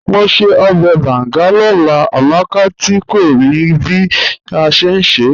Mò n ṣẹ̀ ọbẹ̀ bàngà lọ́lá, Amàkà tí kò mí bí a ṣẹ̀ n ṣẹ́.